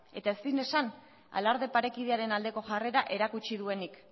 eta ezin esan alarde parekidearen aldeko jarrera erakutsi duenik